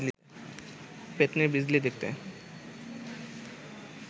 পেত্নির বিজলি দেখতে